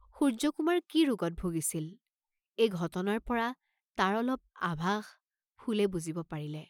সূৰ্য্যকুমাৰ কি ৰোগত ভুগিছিল, এই ঘ্টনাৰ পৰা তাৰ অলপ আভাষ ফুলে বুজিব পাৰিলে।